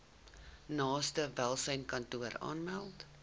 naaste welsynskantoor aanmeld